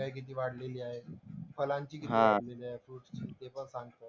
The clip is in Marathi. महंगाई किती वाढलेली आहे. फळांची किती वाढलेली आहेत. फ्रुट्स नि ते पण सांगते.